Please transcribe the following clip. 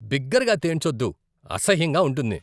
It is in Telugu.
బిగ్గరగా తేన్చోద్దు, అసహ్యంగా ఉంటుంది.